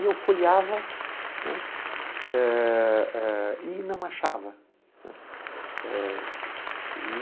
E eu folheava, né, eh eh e não achava, né eh. E